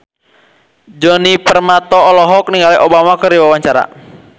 Djoni Permato olohok ningali Obama keur diwawancara